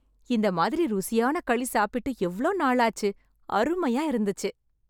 இந்த மாதிரி ருசியான களி சாப்பிட்டு எவ்ளோ நாளாச்சு. அருமையா இருந்துச்சு.